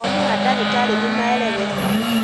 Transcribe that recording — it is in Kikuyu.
mawoni ma ndagĩtarĩ nĩmaereweka